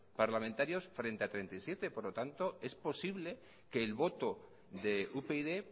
parlamentarios frente a treinta y siete por lo tanto es posible que el voto de upyd